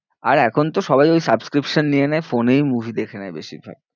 আর এখন তো সবাই ওই subscription নিয়ে নেয়, phone এই movie দেখে নেয় বেশিরভাগ।